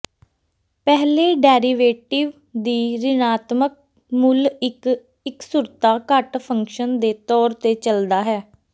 ਪਹਿਲੇ ਡੈਰੀਵੇਟਿਵ ਦੀ ਰਿਣਾਤਮਕ ਮੁੱਲ ਇੱਕ ਇੱਕਸੁਰਤਾ ਘਟ ਫੰਕਸ਼ਨ ਦੇ ਤੌਰ ਤੇ ਚੱਲਦਾ ਹੈ